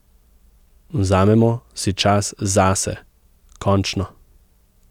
Vzamemo si čas zase, končno.